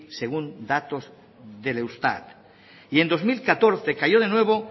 según datos del eustat y en dos mil catorce cayó de nuevo